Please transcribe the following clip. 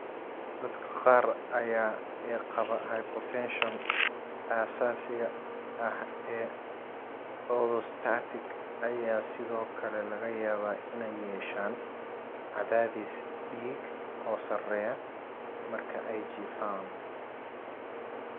Dadka qaar ee qaba hypotension aasaasiga ah ee orthostatic ayaa sidoo kale laga yaabaa inay yeeshaan cadaadis dhiig oo sarreeya marka ay jiifaan.